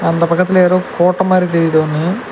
அந்த பக்கத்துல யாரோ கோட்ட மாறி தெரிது ஒன்னு.